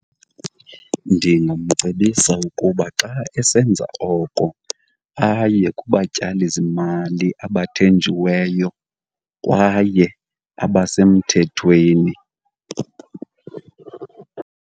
Ndingamcebisa ukuba xa esenza oko aye kubatyalizimali abathenjiweyo kwaye abasemthethweni.